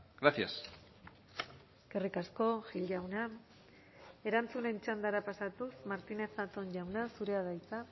gracias eskerrik asko gil jauna erantzunen txandara pasatuz martínez zatón jauna zurea da hitza